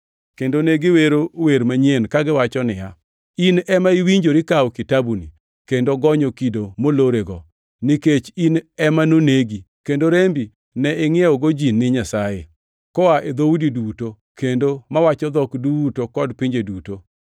Kendo ne giwero wer manyien, kagiwacho niya: “In ema iwinjori kawo kitabuni, kendo gonyo kido molorego, nikech in ema nonegi kendo rembi ne ingʼiewogo ji ni Nyasaye, koa e dhoudi duto, kendo mawacho dhok duto kod pinje duto.